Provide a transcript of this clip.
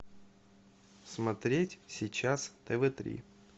смотреть сейчас тв три